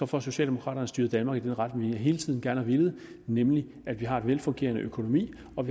får socialdemokraterne styret danmark i den retning vi hele tiden gerne har villet nemlig at vi har en velfungerende økonomi og